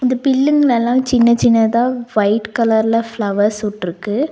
இந்த பில்லுங்கலெல்லா சின்ன சின்னதா வைட் கலர்ல ஃபிளவர்ஸ் வுட்ருக்கு.